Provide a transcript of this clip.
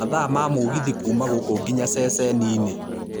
mathaa ma mũgithi kuuma gũkũ nginya ceceni-inĩ